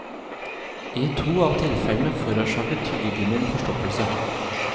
I to av tilfellene forårsaket tyggegummien forstoppelse.